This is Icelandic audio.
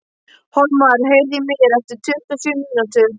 Hólmar, heyrðu í mér eftir tuttugu og sjö mínútur.